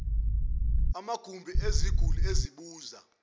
amagumbi eziguli ezibuza